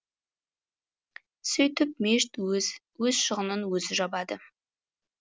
сөйтіп мешіт өз шығынын өзі жабады